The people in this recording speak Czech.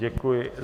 Děkuji.